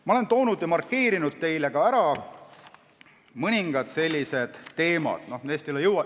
Ma olen toonud välja ja markeerinud mõningad teemad.